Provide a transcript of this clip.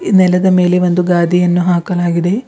ಈ ನೆಲದ ಮೇಲೆ ಒಂದು ಗಾದಿಯನ್ನು ಹಾಕಲಾಗಿದೆ.